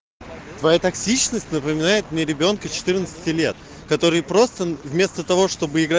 твоя токсичность напоминает мне ребёнка четырнадцати лет который просто вместо того чтобы игра